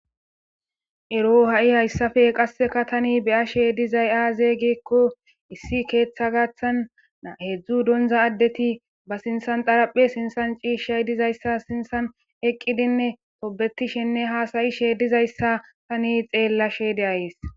Eroo ha7i haysape qassika thani be7ashee dizay aazee giikko issi keeththaa gaththan heezzu donzza addethi ba sinththan xaraphe sinththan ciishshay dizayssa sinththan eqqidinne tobbethishinne haasayishe dizayssa thani xeellashe de7ays.